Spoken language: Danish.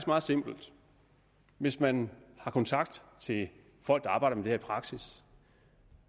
meget simpelt hvis man har kontakt til folk der arbejder med i praksis